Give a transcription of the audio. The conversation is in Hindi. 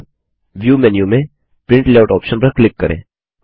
अब व्यू मेन्यू में प्रिंट लेआउट ऑप्शन पर क्लिक करें